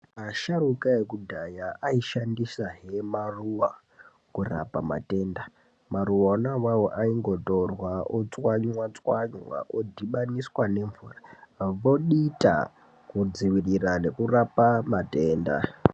Asharukwa ekudhaya aishandisahe maruwa kurapa matenda maruwa onawawo aingotorwa otswanywatswanywa odhibadiniswa nemvura vodita kudziirira nekurapa matenda .